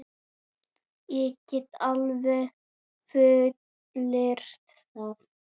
Ég get alveg fullyrt það.